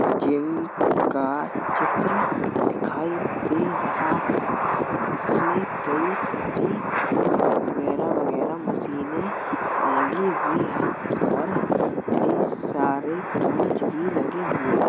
Gym का चित्र दिखाई दे रहा है इसमें कई सारी वगैरह- वगैरह मशीने लगी हुई हैं और कई सारे काँच भी लगे हुए हैं।